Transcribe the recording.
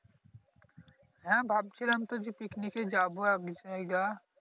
হ্যা ভাবছিলাম তো যে পিকনিক যাবো এক